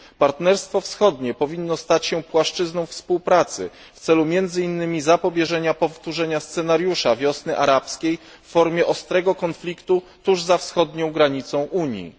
Partnerstwo Wschodnie powinno stać się płaszczyzną współpracy w celu między innymi zapobieżenia powtórzeniu scenariusza wiosny arabskiej w formie ostrego konfliktu tuż za wschodnią granicą Unii.